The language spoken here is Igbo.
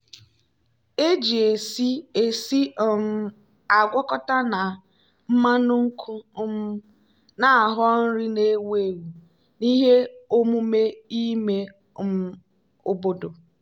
eji esi esi um agwakọta na mmanụ nkwụ um na-aghọ nri na-ewu ewu n'ihe omume ime um obodo.